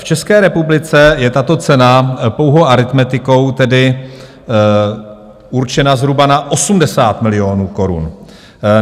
V České republice je tato cena pouhou aritmetikou tedy určena zhruba na 80 milionů korun.